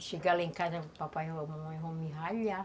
Se chegar lá em casa, papai e mamãe vão me ralhar.